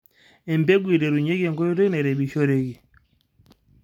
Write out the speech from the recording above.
embegu eiterunyeki enkoitoi nairemishoreki